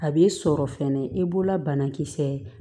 A b'i sɔrɔ fɛnɛ i bolola banakisɛ